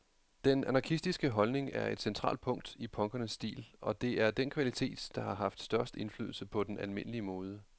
Den anarkistiske holdning er et centralt punkt i punkernes stil, og det er den kvalitet, der har haft størst indflydelse på den almindelige mode.